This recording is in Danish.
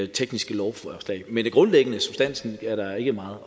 tekniske lovforslag men det grundlæggende substansen er der ikke meget at